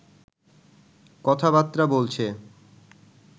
কথা-বার্তা বলছে